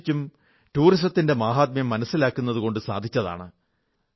വിശേഷിച്ചും ടൂറിസത്തിന്റെ മാഹാത്മ്യം മനസ്സിലാക്കുന്നതുകൊണ്ടു സാധിച്ചതാണ്